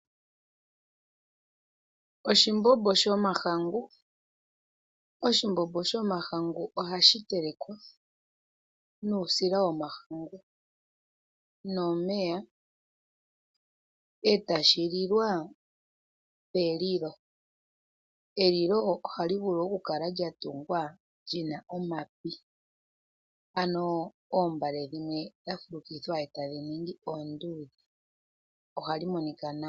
Oshimbombo shomahangu, oshimbombo shomahangu oha shi telekwa nuusila womahangu nomeya ee tashi lilwa pelilo. Elilo oha li vulu oku kala lya tungwa lyi na omapi ano oombale dha fulukithwa e tadhi ningi oonduudhe, oha dhi monika nawa.